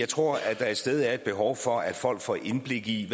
tror at der et sted er et behov for at folk får indblik i